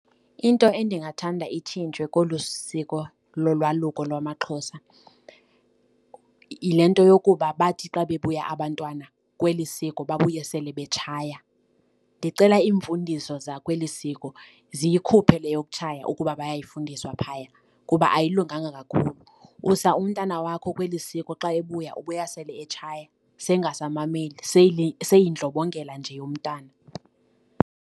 Into endingathanda itshintshwe kolu siko lolwaluko lwamaXhosa yile nto yokuba bathi xa bebuya abantwana kweli siko babuye sele betshaya. Ndicela iimfundiso zakweli siko ziyikhuphe le yokutshaya ukuba bayayifundiswa phaya kuba ayilunganga kakhulu. Usa umntana wakho kweli siko. Xa ebuya ubuya sele etshaya seyingasamameli seyindlobongela nje yomntana.